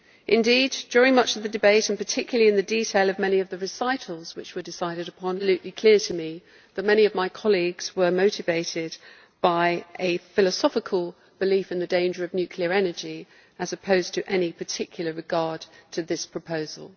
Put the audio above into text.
Indeed, during much of the debate and particularly in the detail of many of the recitals which were decided upon, it became absolutely clear to me that many of my colleagues were motivated by a philosophical belief in the danger of nuclear energy, as opposed to any particular regard to this proposal.